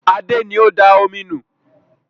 Adé ni ó da omi nù